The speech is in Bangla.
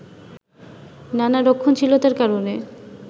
নানা রক্ষণশীলতার কারণে